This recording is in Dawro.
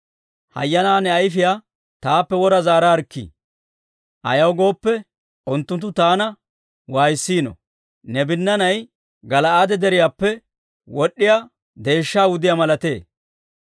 Hayyanaa ne ayifiyaa taappe wora zaaraarikkii, ayaw gooppe, unttunttu taana waayissiino. Ne binnaanay Gala'aade Deriyaappe wod'd'iyaa deeshshaa wudiyaa malatee.